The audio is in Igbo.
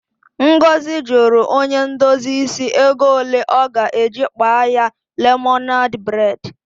Ngozi jụrụ onye ndozi isi ego ole ọ ga-eji kpaa ya lemonadị bredi.